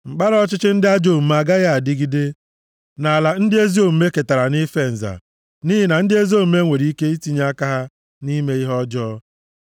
Mkpara ọchịchị ndị ajọ omume agaghị adịgide + 125:3 \+xt Aịz 14:5\+xt* nʼala ndị ezi omume ketara nʼife nza, nʼihi na ndị ezi omume nwere ike itinye aka ha na-ime ihe ọjọọ.